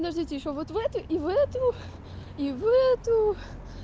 подождите ещё вот эту и в эту и в эту